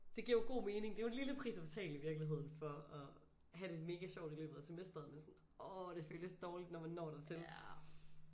Det giver jo god mening det er jo en lille pris at betale i virkeligheden for at have det mega sjovt i løbet i af semesteret men sådan orh det føles dårligt når man når dertil